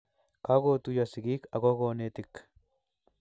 Kagotuiyo sigik ako konetik